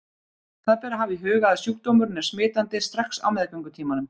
Það ber að hafa í huga að sjúkdómurinn er smitandi strax á meðgöngutímanum.